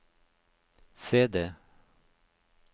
CD